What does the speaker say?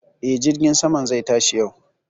E, jirgin saman zai tashi yau